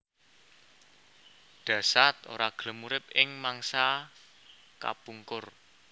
Dasaad ora gelem urip ing mangsa kapungkur